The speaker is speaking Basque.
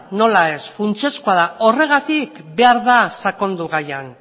nola ez horregatik behar da sakondu gaian